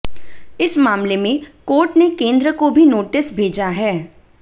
इस मामले में कोर्ट ने केंद्र को भी नोटिस भेजा है